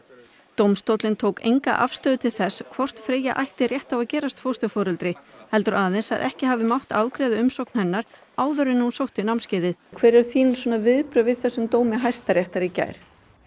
dómstóllinn tók enga afstöðu til þess hvort Freyja ætti rétt á að gerast fósturforeldri heldur aðeins að ekki hafi mátt afgreiða umsókn hennar áður en hún sótti námskeiðið hver eru þín viðbrögð við þessum dómi Hæstaréttar í gær